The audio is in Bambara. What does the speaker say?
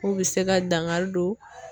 K'u bɛ se ka dankari don